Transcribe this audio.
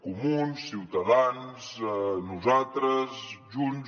comuns ciutadans nosaltres junts